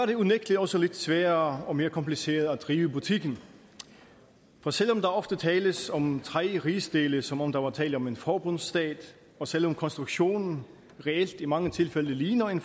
det unægtelig også lidt sværere og mere kompliceret at drive butikken for selv om der ofte tales om tre rigsdele som om der var tale om en forbundsstat og selv om konstruktionen reelt i mange tilfælde ligner en